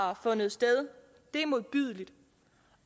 har fundet sted er modbydelige